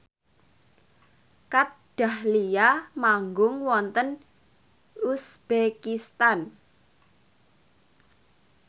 Kat Dahlia manggung wonten uzbekistan